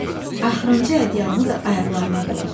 Axırıncı ədyalını da ayaqlarına doladı.